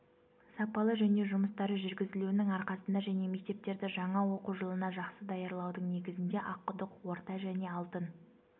сапалы жөндеу жұмыстары жүргізілуінің арқасында және мектептерді жаңа оқу жылына жақсы даярлаудың негізінде аққұдық орта және алтын